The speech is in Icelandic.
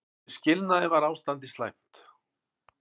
Við skilnaðinn var ástandið slæmt.